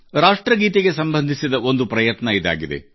ರಾಷ್ಟ್ರಗೀತೆಗೆ ಸಂಬಂಧಿಸಿದ ಒಂದು ಪ್ರಯತ್ನ ಇದಾಗಿದೆ